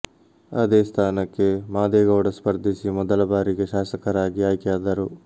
ಅದೇ ಸ್ಥಾನಕ್ಕೆ ಮಾದೇಗೌಡ ಸ್ಪರ್ಧಿಸಿ ಮೊದಲ ಬಾರಿಗೆ ಶಾಸಕರಾಗಿ ಆಯ್ಕೆಯಾದರು